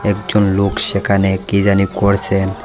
একজন লোক সেখানে কি জানি করছেন।